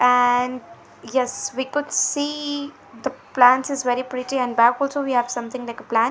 and yes we could see the plants is very pretty and back also we have something like a plant.